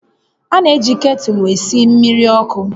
A na-eji ktụlụ esi mmiri ọkụ